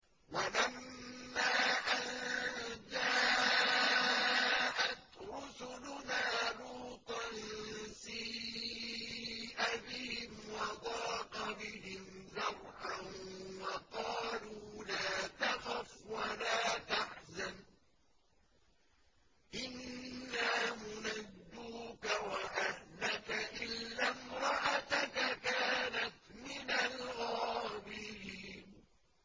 وَلَمَّا أَن جَاءَتْ رُسُلُنَا لُوطًا سِيءَ بِهِمْ وَضَاقَ بِهِمْ ذَرْعًا وَقَالُوا لَا تَخَفْ وَلَا تَحْزَنْ ۖ إِنَّا مُنَجُّوكَ وَأَهْلَكَ إِلَّا امْرَأَتَكَ كَانَتْ مِنَ الْغَابِرِينَ